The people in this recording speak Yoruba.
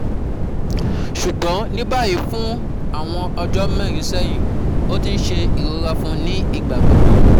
Ṣugbọn ni bayi fun awọn ọjọ mẹrin sẹyin, o ti n se irora fun ni igbagbogbo